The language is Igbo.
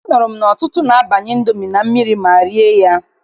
Anụrụ m na ọtụtụ na-abanye Indomi na mmiri ma rie ya.